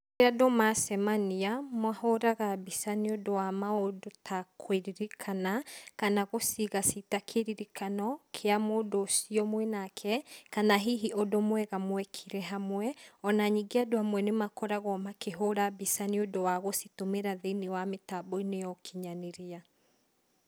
Rírĩa andũ macemania, mahũraga mbica nĩ ũndũ wa maũndũ ta kũririkana kana gũciga cita kĩririkano kía mũndũ ũcio mwĩnake, kana hihi ũndũ mwega mwekire hamwe, ona ningĩ andũ amwe nĩ makoragwo makĩhũra mbica nĩũndũ wa gũcitũmĩra thĩiniĩ wa mitambo-inĩ ya ũkinyanĩria.